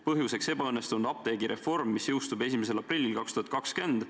Põhjuseks ebaõnnestunud apteegireform, mis jõustub 1. aprillil 2020.